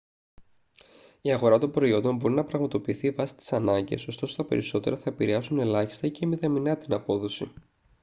η αγορά των προϊόντων μπορει να πραγματοποιηθεί βάση τις ανάγκες ωστόσο τα περισσότερα θα επηρρεάσουν ελάχιστή ή και μηδαμηνά την απόδοση